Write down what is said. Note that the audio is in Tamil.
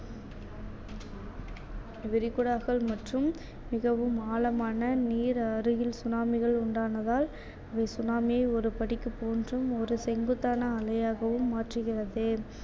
விரிகுடாக்கள் மற்றும் மிகவும் ஆழமான நீர் அருகில் tsunami கள் உண்டானதால் tsunami ஒரு ஒரு செங்குத்தான அலையாகவும் மாற்றுகிறது